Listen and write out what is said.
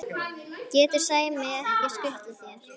getur Sæmi ekki skutlað þér?